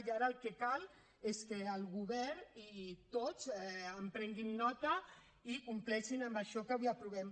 i ara el que cal és que el govern i tots en prenguin nota i compleixin amb això que avui aprovem